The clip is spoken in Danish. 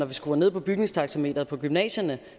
vi skruer ned på bygningstaxameteret på gymnasierne